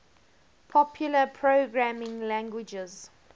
popular programming languages